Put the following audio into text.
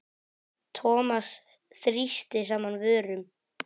Thomas þrýsti saman vörum.